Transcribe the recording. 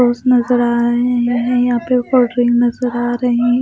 रोज नजर आ रहे हैयहाँ पर कोल्ड्रिंक नजर आ रही है।